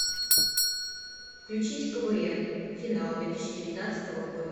включить квн финал две тысячи девятнадцатого года